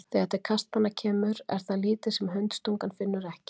Þegar til kastanna kemur er það lítið sem hundstungan finnur ekki.